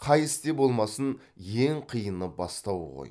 қай істе болмасын ең қиыны бастау ғой